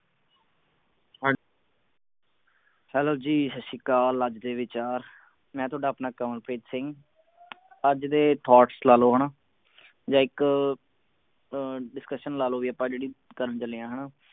ਹਾਂ Hello ਜੀ ਸੱਤ ਸ਼੍ਰੀ ਅਕਾਲ ਅੱਜ ਦੇ ਵਿਚਾਰ ਮੈਂ ਤੁਹਾਡਾ ਆਪਣਾ ਕਮਲਪ੍ਰੀਤ ਸਿੰਘ ਅੱਜ ਦੇ thoughts ਲਾ ਲਓ ਹਣਾ ਜਾ ਇਕ ਅਹ discussion ਲਾ ਲੋ ਵੀ ਆਪਾਂ ਜਿਹੜੀ ਕਰਨ ਚੱਲੇ ਹੈਂ ਹਣਾ